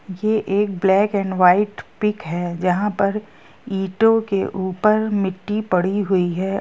ये एक black and white pic है जँहा पर इंटो के ऊपर मिट्टी पड़ी हुई है।